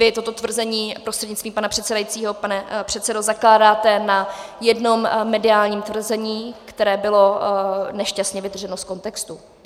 Vy toto tvrzení, prostřednictvím pana předsedajícího pane předsedo, zakládáte na jednom mediálním tvrzení, které bylo nešťastně vytrženo z kontextu.